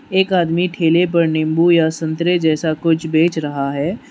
एक आदमी ठेले पर नींबू या संतरे जैसा कुछ बेच रहा है।